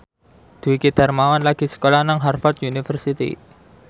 Dwiki Darmawan lagi sekolah nang Harvard university